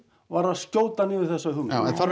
var að skjóta niður þessa hugmynd já en þarf